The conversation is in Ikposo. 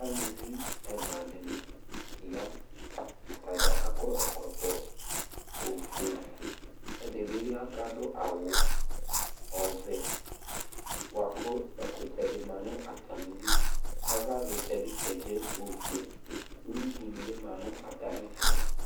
Alʋvi ɛla ɖìŋí ya Atadza akɔ ɛkɔtɔ ɔfʋe Ɛɖìbi ya kʋ aɖu awu ɔvɛ bʋakʋ ɛkutɛ ɖi maŋu atamiɖu Ava vlitaɛ bi kedze ɔfʋe Ʋwʋi ɖíni bi ma ŋu atami ɛtu